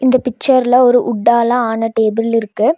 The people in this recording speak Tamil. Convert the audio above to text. இந்த பிச்சர்லெ ஒரு உட்டாலெ ஆன டேபிள் இருக்கு.